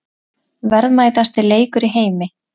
Verðmætasti leikur í heimi